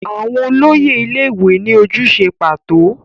Àwọn olóyè ilé-ìwé ní ojúṣe pàtó.